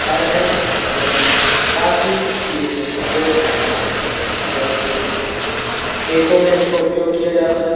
फर है यह काफी चीज़ में उपयोग रहता है जैसे खेतों में इसका उपयोग किया जाता है।